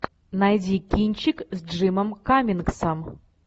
найди кинчик с джимом каммингсом